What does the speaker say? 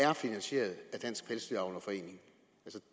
er finansieret af dansk pelsdyravlerforening